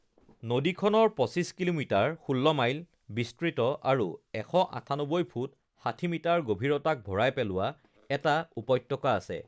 নদীখনৰ ২৫ kilometre (১৬ mile) বিস্তৃত আৰু ১৯৮ ফুট (৬০ মিটাৰ) গভীৰতাক ভৰাই পেলোৱা এটা উপত্যকা আছে৷